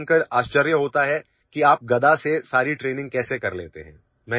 लोगों को जानकरआश्चर्य होता है कि आप गदा से सारी ଟ୍ରେନିଂ कैसे कर लेते हैं